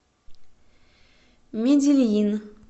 медельин